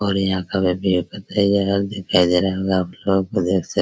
और यहां का पता ही है आप लोगों को देख सक --